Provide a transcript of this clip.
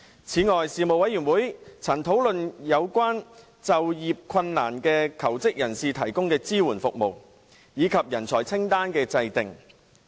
此外，事務委員會曾討論為有就業困難的求職人士提供的支援服務，以及人才清單的制訂。